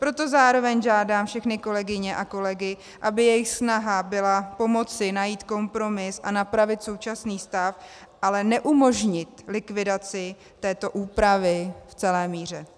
Proto zároveň žádám všechny kolegyně a kolegy, aby jejich snaha byla pomoci najít kompromis a napravit současný stav, ale neumožnit likvidaci této úpravy v celé míře.